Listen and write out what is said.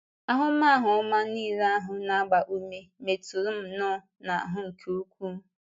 Ahụmahụ ọma nile ahụ na - agba ume metụrụ m nnọọ, n’ahụ́ nke ukwuu.